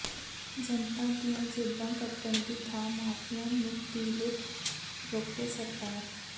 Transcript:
ਜਨਤਾ ਦੀਆਂ ਜੇਬਾਂ ਕੱਟਣ ਦੀ ਥਾਂ ਮਾਫ਼ੀਆ ਦੀ ਲੁੱਟ ਰੋਕੇ ਸਰਕਾਰ